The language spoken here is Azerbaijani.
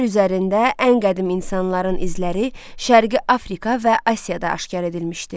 Yer üzərində ən qədim insanların izləri Şərqi Afrika və Asiyada aşkar edilmişdi.